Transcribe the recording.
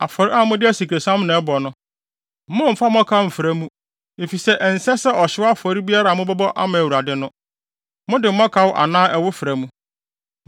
“ ‘Afɔre a mode asikresiam na ɛbɔ no, mommfa mmɔkaw mmfra mu, efisɛ ɛnsɛ sɛ ɔhyew afɔre biara a mobɛbɔ ama Awurade no, mode mmɔkaw anaa ɛwo fra mu.